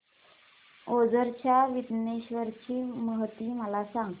ओझर च्या विघ्नेश्वर ची महती मला सांग